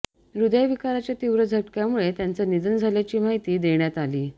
हृदयविकाराच्या तीव्र झटक्यामुळे त्यांचं निधन झाल्याची माहिती देण्यात आली